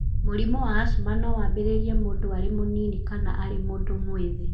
Mũrimũ wa asthma no wambĩrĩrie mũndũ arĩ mũnini kana arĩ mũndũ mwĩthĩ.